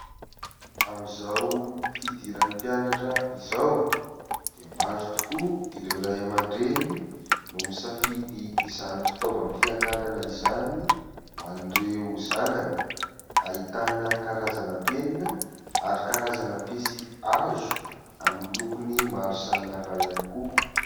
Amin'izao fidiran'ny mpianatra izao dia maro tokoa ireo raiamandreny no misafidy izany fitaovam-pianarana izany ho an'ireo zanany. Ahitana karazana penina ary karazana pensilihazo amin'ny lokony maro samihafa ihany koa.